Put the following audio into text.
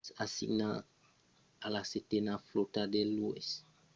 es assignat a la setena flòta de l'u.s. navy e basat a sasebo nagasaki a japon